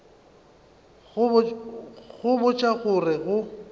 go botša go re go